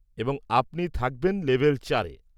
এবং আপনি থাকবেন লেভেল চারে।